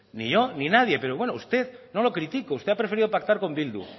ni yo ni nadie pero bueno usted no lo critico usted ha preferido pactar con bildu